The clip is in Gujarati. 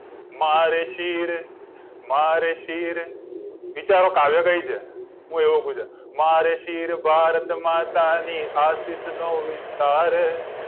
મારે શિર મારે શિર વિચારો કાવ્ય કયું છે હું એવું કહું મારે શિર ભારત માતા ને આશિષ નો વિસ્તાર